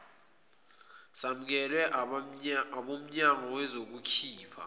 samukelwe abomnyango bazokhipha